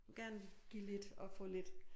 Gerne give lidt og få lidt